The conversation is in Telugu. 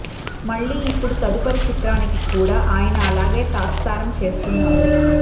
మళ్లీ ఇప్పుడు తదుపరి చిత్రానికి కూడా ఆయన అలాగే తాత్సారం చేస్తున్నారు